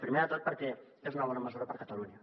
primer de tot perquè és una bona mesura per a catalunya